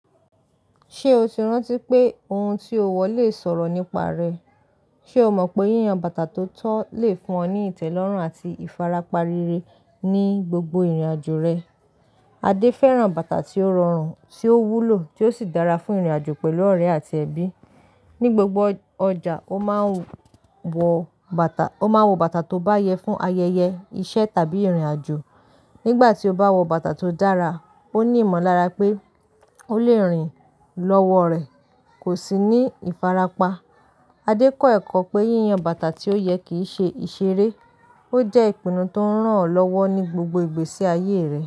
Ṣé o ti rántí pé ohun tí o wọ lè sọ̀rọ̀ nípa rẹ? Ṣé o mọ̀ pé yíyan bàtà tó tọ́ lè fún ọ ní ìtẹ́lọ́rùn àti ìfarapa rere ní gbogbo ìrìnàjò rẹ? Adé fẹ́ràn bàtà tí ó rọrùn, tí ó wúlò, tí ó sì dára fún ìrìnàjò pẹ̀lú ọ̀rẹ́ àti ẹbí. Ni gbogbo ọjà, o maa n wọ ó máa ń wọ bàtà tó bá yẹ fún ayẹyẹ, iṣẹ́ tàbí ìrìnàjò. Nígbà tí ó bá wọ bàtà tó dára, ó ní ìmọ̀lára pé ó lè rìn lọ́wọ́ rẹ̀ kò sì ní ìfarapa. Adé kọ́ ẹ̀kọ́ pé yíyan bàtà tí ó yẹ kì í ṣe ìṣeré, ó jẹ́ ìpinnu tó ń ràn án lọ́wọ́ ní gbogbo ìgbésí ayé rẹ̀.